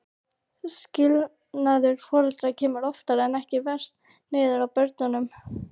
Skilnaður foreldra kemur oftar en ekki verst niður á börnunum.